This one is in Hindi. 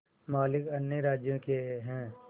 मालिक अन्य राज्यों के हैं